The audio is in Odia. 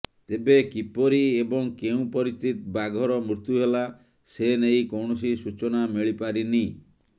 ତେବେ କିପରି ଏବଂ କେଉଁ ପରିସ୍ଥିତି ବାଘର ମୃତ୍ୟୁ ହେଲା ସେ ନେଇ କୌଣସି ସୂଚନା ମିଳିପାରିନି